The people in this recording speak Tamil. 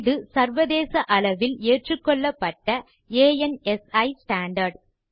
இது சர்வதேச அளவில் ஏற்றுக்கொள்ளப்பட்ட அன்சி ஸ்டாண்டார்ட்